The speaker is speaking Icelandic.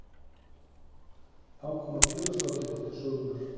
Þá koma félagsráðgjafar til sögunnar